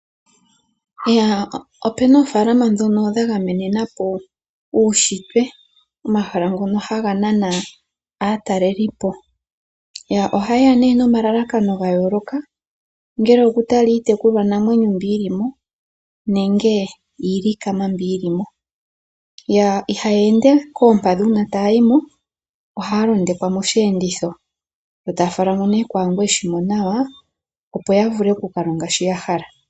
Opena oofaalama ndhono dha gamenena po uushitwe, omahala ngono haga nana aatalelipo. Ohaye ya nee nomalalakano ga yooloka ongele okutala iitekulwanamwenyo mbi yili mo nenge iilikama mbi yili mo. Ihaya ende koompadhi uuna taayi mo, ohaya londekwa moshiyenditho yo taya falwa mo nee kwaangu eshi mo nawa, opo ya vule oku ka longa shi ya hala.